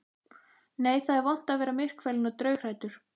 Nei, það er vont að vera myrkfælinn og draughræddur.